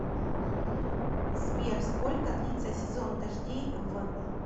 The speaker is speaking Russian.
сбер сколько длится сезон дождей в